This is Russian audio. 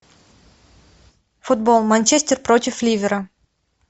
футбол манчестер против ливера